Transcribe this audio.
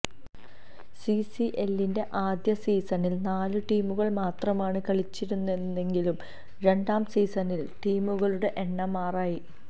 സിസിഎല്ലിന്റെ ആദ്യ സീസണില് നാല് ടീമുകള് മാത്രമാണ് കളിച്ചിരുന്നതെങ്കില് രണ്ടാം സീസണില് ടീമുകളുടെ എണ്ണം ആറായി